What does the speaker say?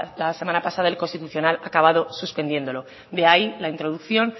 la semana pasada el constitucional ha acabado suspendiéndolo de ahí la introducción